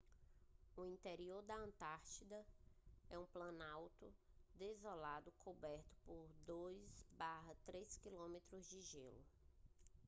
o interior da antártica é um planalto desolado coberto por 2-3 km de gelo